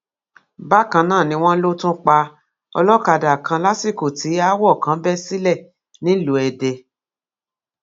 bákan náà ni wọn lọ tún pa olókàdá kan lásìkò tí aáwọ kan bẹ sílẹ nílùú èdè